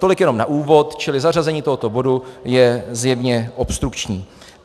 Tolik jenom na úvod, čili zařazení tohoto bodu je zjevně obstrukční.